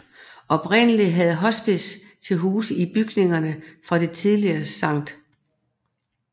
Oprindelig havde hospicet til huse i bygningerne fra det tidligere Sct